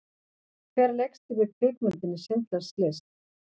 Hver leikstýrði kvikmyndinni Schindlers List?